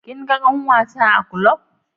Kin ga ƙanwata a ƙlub?